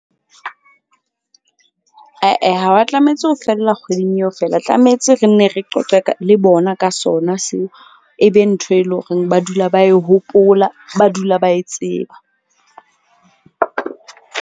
Ae ha wa tlametse ho fihlella kgweding eo fela. Tlametse re nne re qoqe ka le bona ka sona seo. E be ntho e leng horeng ba dula ba e hopola, ba dula ba e tseba .